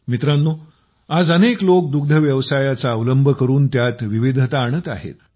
मित्रांनो आज अनेक लोक दुग्धव्यवसायाचा अवलंब करून त्यात विविधता आणत आहेत